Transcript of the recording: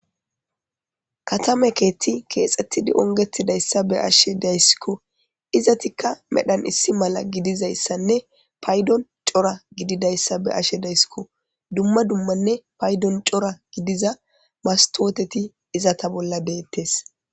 Katame keethti keexethidi ongethidayssa be7ashe daysikko. izatikka medhan issi mala gidizayssanne paydon cora gididayssa be7ashe daysikko. Dumma dummanne paydon cora gidiza mastooteti izata bolla deettes